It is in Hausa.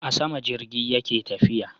A sama jirgi yake tafiya